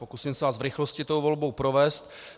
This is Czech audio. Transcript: Pokusím se vás v rychlosti tou volbou provést.